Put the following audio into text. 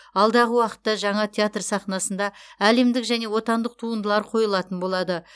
алдағы уақытта жаңа театр сахнасында әлемдік және отандық туындылар қойылатын болады